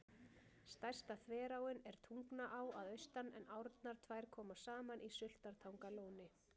Stærsta þveráin er Tungnaá að austan en árnar tvær koma saman í Sultartangalóni.